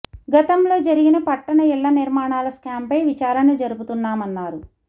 గతంలో జరిగిన పట్టణ ఇళ్ల నిర్మాణాల స్కాంపై విచారణ జరుపుతామన్నారు